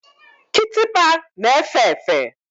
Kitikpa na-efe efe.